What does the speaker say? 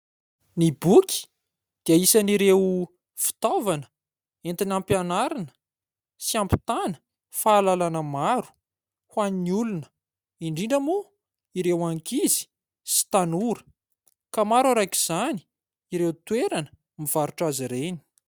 Ny boky dia isan'ireo fitaovana entina ampianarina sy hampitana fahalalana maro ho any olona indrindra moa ireo ankizy sy tanora ka maro arak'izany ireo toerana mivarotra azy ireny.